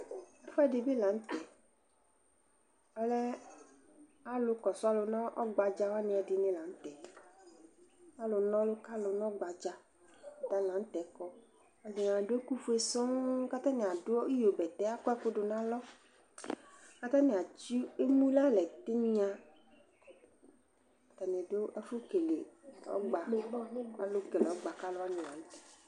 ɛfuɛɗibilɑŋtɛ ɔlɛ ɑlụkõsụɑ ɲɔgbɑɗzɑ ɛɗiɲilɑɲũtɛ ɑluɲolukɑlu ɔgbɑdzɑ ɑtɑlɑɲũtɛkɔ aɗụɛkω fuɛ soŋŋ ɑtɑɲi ɑɗụ ĩyóbɛtɛ ɑkọɛkʊɗu ɲɑlọ kɑtɑɲiɑ tsi ɛmωlɑlétiɴyɑ ɑtɑṅiḍu ɛfũkɛlɛ ɔgbɑ kɔlukɛle ɔgbɑ kɑluwaṅi